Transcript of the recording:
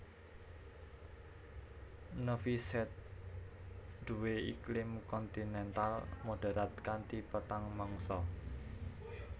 Novi Sad duwé iklim kontinental moderat kanthi patang mangsa